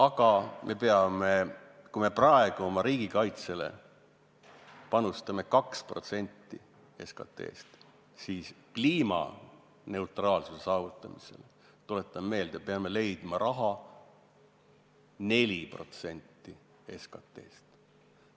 Kui me praegu panustame riigikaitseks 2% SKT-st, siis kliimaneutraalsuse saavutamiseks, tuletan meelde, peame eraldama 4% SKT-st.